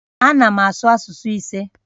Ana m asụ asụsụ ise